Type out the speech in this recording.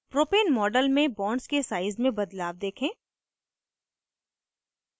propane model में bonds के size में बदलाव देखें